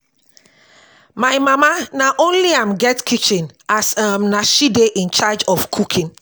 my mama na only am get kitchen as um na she dey incharge of cooking